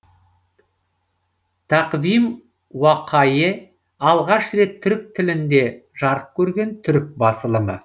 тақвим уақайе алғаш рет түрік тілінде жарық көрген түрік басылымы